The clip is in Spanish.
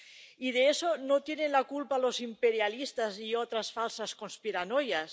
Y de eso no tienen la culpa los imperialistas y otras falsas conspiranoias.